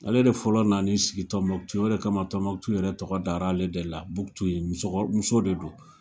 Ale de fɔlɔ nan'i sigi Tombouctou. O de kama Tombouctou yɛrɛ tɔgɔ dar'ale de la Buktu ye, musɔkɔ muso de don.